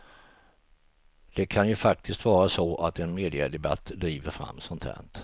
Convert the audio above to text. Det kan ju faktiskt vara så att en mediadebatt driver fram sånt här.